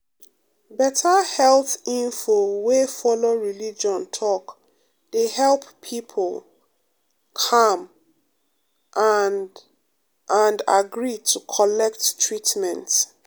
better health info wey follow religion talk dey help people calm and and agree to collect treatment.